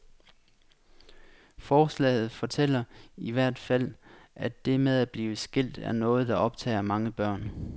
Forslaget fortæller i hvert fald, at det med at blive skilt er noget der optager mange børn.